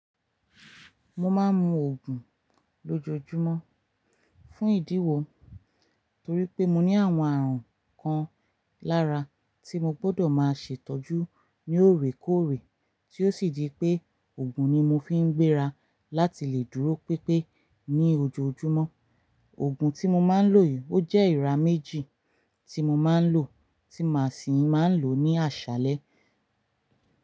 Mo máa ń mu Ògùn lójoojúmọ́ fún ìdí wo torí pé mo ní àwọn àrùn kan lára tí mo gbọdọ̀ máa ṣe ìtọ́jú ní òrèkóòrè tí ó sì di pé Ògùn ni mo fi ń gbéra láti lè dúró pipé ní ojoojúmọ́. Ògùn tí mo máa ń lò yìí ó jẹ́ ìra méjì tí mo máa ń lò tí màá sì máa ń lò ní àṣálẹ́